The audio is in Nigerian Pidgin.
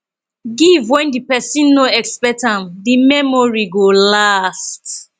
give when di persin no expect am di memory go last